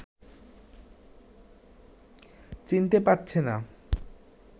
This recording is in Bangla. চিনতে পারছে না